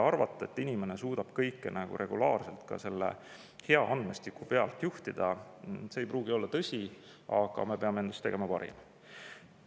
Arvata, et inimene suudab kõike regulaarselt hea andmestiku pealt juhtida – see ei pruugi olla tõsi, aga me peame endast parima.